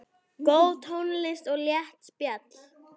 Góð tónlist og létt spjall.